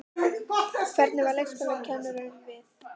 Hvernig varð leikskólakennurunum við?